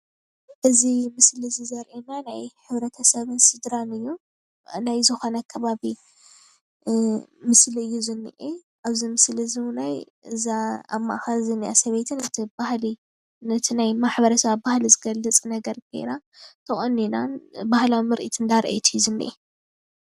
እዚ ምስሊ እዙይ ዘርእየና ናይ ሕብረተሰብን ስድራን እዩ። ናይ ዝኮነ ኣከባቢ ምስሊ እዩ ዝኒአ ኣብዚ ምስሊ እዙይ እዉነይ እዛ ኣብ ማእከል ዝኒኣ ሰበይቲ ማለት እዩ ባህሊ ነቲ ናይ ማሕበረሰባ ባህሊ ዝገልፅ ነገር ገይራ ተቆኒና ባህላዊ ምርኢት እንዳርአየት እዩ ዝኒአ።